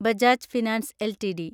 Bajaj finance LTD